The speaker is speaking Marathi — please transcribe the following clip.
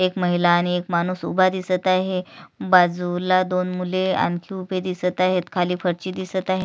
एक महिला आणि एक माणूस उभा दिसत आहे बाजूला आणखी दोन मुले उभे दिसत आहेत. खाली फरची दिसत आहे.